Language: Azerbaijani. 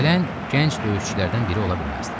Gələn gənc döyüşçülərdən biri ola bilməzdi.